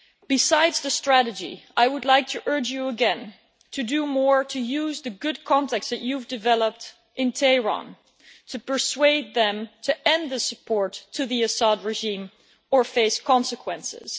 Besides the strategy, I would like to urge you again to do more to use the good contacts that you have developed in Tehran to persuade them to end the support for the Assad regime or face consequences.